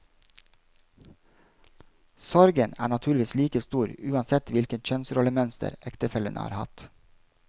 Sorgen er naturligvis like stor uansett hvilket kjønnsrollemønster ektefellene har hatt.